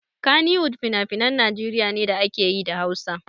Kannywood finafinan Najeriya ne da ake yi da Hausa.